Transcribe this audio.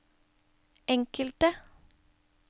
enkelte